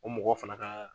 O mɔgɔ fana ka